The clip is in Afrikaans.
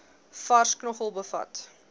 vars knoffel bevat